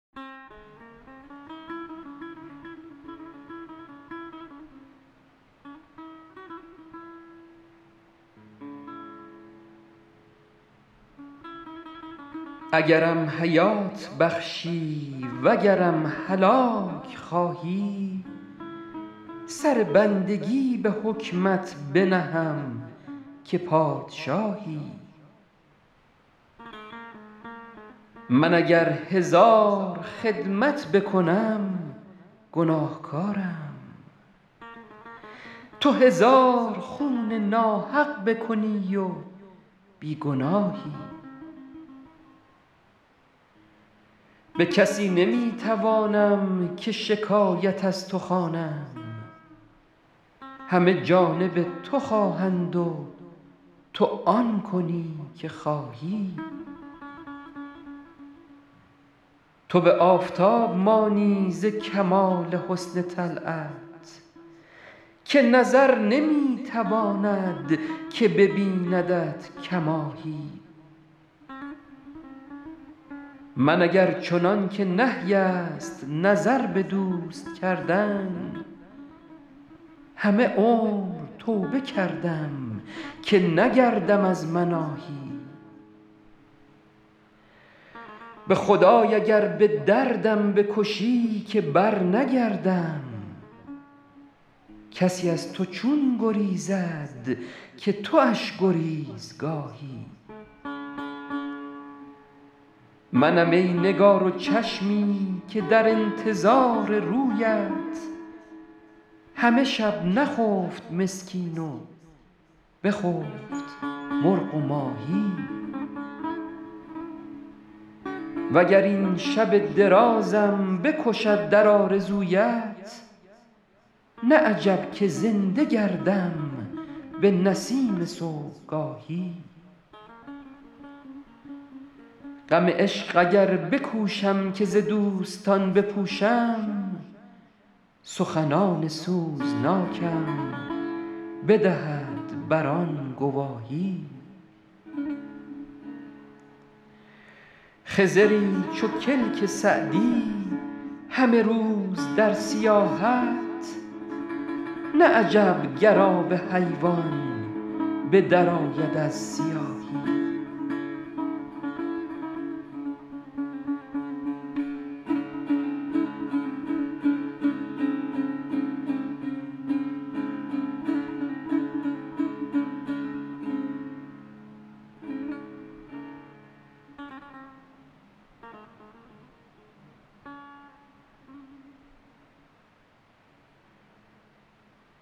اگرم حیات بخشی وگرم هلاک خواهی سر بندگی به حکمت بنهم که پادشاهی من اگر هزار خدمت بکنم گناهکارم تو هزار خون ناحق بکنی و بی گناهی به کسی نمی توانم که شکایت از تو خوانم همه جانب تو خواهند و تو آن کنی که خواهی تو به آفتاب مانی ز کمال حسن طلعت که نظر نمی تواند که ببیندت کماهی من اگر چنان که نهی است نظر به دوست کردن همه عمر توبه کردم که نگردم از مناهی به خدای اگر به دردم بکشی که برنگردم کسی از تو چون گریزد که تواش گریزگاهی منم ای نگار و چشمی که در انتظار رویت همه شب نخفت مسکین و بخفت مرغ و ماهی و گر این شب درازم بکشد در آرزویت نه عجب که زنده گردم به نسیم صبحگاهی غم عشق اگر بکوشم که ز دوستان بپوشم سخنان سوزناکم بدهد بر آن گواهی خضری چو کلک سعدی همه روز در سیاحت نه عجب گر آب حیوان به درآید از سیاهی